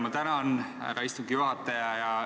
Ma tänan, härra istungi juhataja!